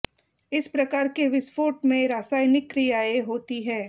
इस प्रकार के विस्फोट में रासायनिक क्रियायें होति है